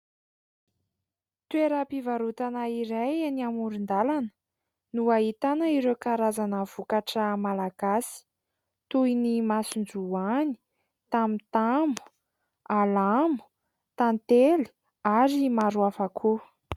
Toeram-pivarotana iray eny amoron-dalana no ahitana ireo karazana vokatra malagasy. Toy ny : masonjoany, tamotamo, alamo, tantely ary maro hafa koa.